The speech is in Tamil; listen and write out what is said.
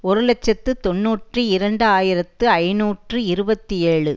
ஒரு இலட்சத்தி தொன்னூற்றி இரண்டு ஆயிரத்தி ஐநூற்று இருபத்தி ஏழு